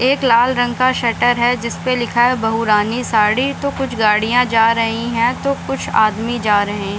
एक लाल रंग का शटर है जिसपे लिखा है बहुरानी साड़ी तो कुछ गाड़ियाँ जा रही हैं तो कुछ आदमी जा रहे हैं।